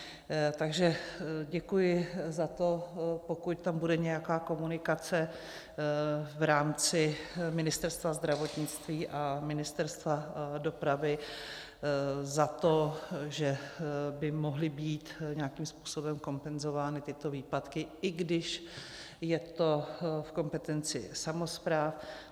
Takže děkuji za to, pokud tam bude nějaká komunikace v rámci Ministerstva zdravotnictví a Ministerstva dopravy, za to, že by mohly být nějakým způsobem kompenzovány tyto výpadky, i když je to v kompetenci samospráv.